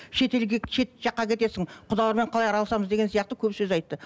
шетелге жаққа кетесің құдалармен қалай араласамыз деген сияқты көп сөз айтты